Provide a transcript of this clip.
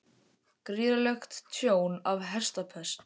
Gríðarlegt tjón af hestapest